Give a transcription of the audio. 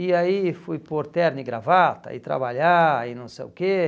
E aí fui pôr terno e gravata e trabalhar e não sei o quê.